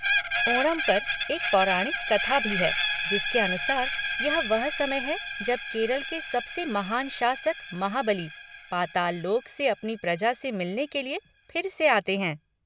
ओणम पर एक पौराणिक कथा भी है, जिसके अनुसार, यह वह समय है जब केरल के सबसे महान शासक महाबली, पाताल लोक से अपनी प्रजा से मिलने के लिए फिर से आते हैं।